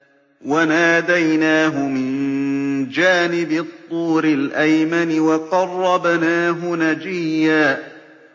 وَنَادَيْنَاهُ مِن جَانِبِ الطُّورِ الْأَيْمَنِ وَقَرَّبْنَاهُ نَجِيًّا